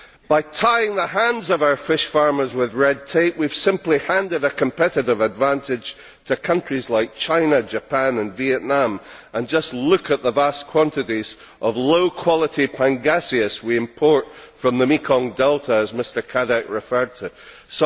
By tying the hands of our fish farmers with red tape we have simply handed a competitive advantage to countries like China, Japan and Vietnam just look at the vast quantities of low quality pangasius we import from the Mekong delta, as Mr Cadec said.